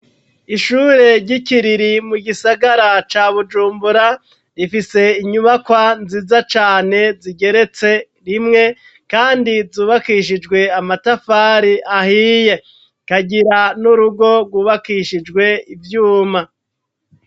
Ishure ry'ikiriri mu gisagara ca bujumbura rifise inyubakwa nziza cane zigeretse rimwe kandi zubakishijwe amatafari ahiye rikagira n'urugo gwubakishijwe ivyuma.